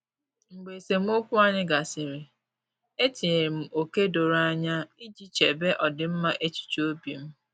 Mgbe esemokwu anyị gasịrị, etinyere m ókè doro anya iji chebe ọdịmma echuche obim